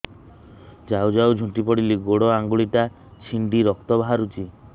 ଯାଉ ଯାଉ ଝୁଣ୍ଟି ପଡ଼ିଲି ଗୋଡ଼ ଆଂଗୁଳିଟା ଛିଣ୍ଡି ରକ୍ତ ବାହାରୁଚି